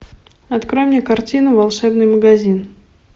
открой мне картину волшебный магазин